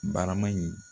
Barama in